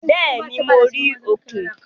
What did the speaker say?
Béèni, mo rí òkìn